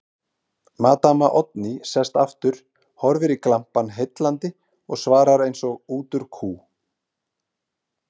Maddama Oddný sest aftur, horfir í glampann heillandi og svarar eins og út úr kú